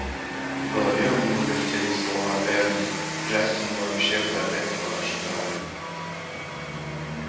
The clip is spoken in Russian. в голове у него вертелись слова эрни джастин вообще-то этого ожидал